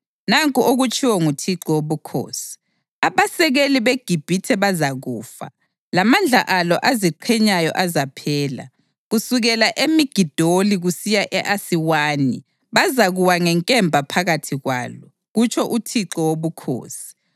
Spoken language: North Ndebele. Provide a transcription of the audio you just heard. Nanku okutshiwo nguThixo Wobukhosi: Abasekeli beGibhithe bazakufa, lamandla alo aziqhenyayo azaphela. Kusukela eMigidoli kusiya e-Asiwani bazakuwa ngenkemba phakathi kwalo, kutsho uThixo Wobukhosi.